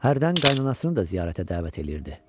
Hərdən qaynananasının da ziyarətə dəvət eləyirdi.